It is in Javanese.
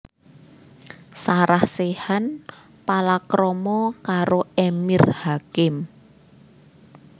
Sarah Sechan palakrama karo Emir Hakim